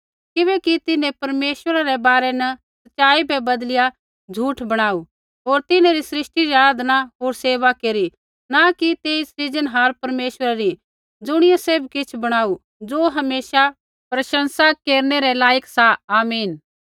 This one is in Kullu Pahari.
किबैकि तिन्हैं परमेश्वरा रै बारै न सच़ाई बै बदलिया झ़ूठ बणाऊ होर होर तिन्हैं री सृष्टि री आराधना होर सेवा केरी न कि तेई सृजनहार परमेश्वरै री ज़ुणियै सैभ किछ़ बणाऊ ज़ो हमेशा प्रशंसा केरनै रै लायक सा आमीन